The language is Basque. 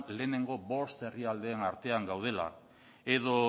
lehenengo bost herrialdeen artean gaudela edo